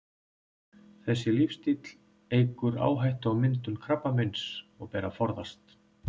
Þessi lífsstíll eykur áhættu á myndun krabbameins og ber að forðast.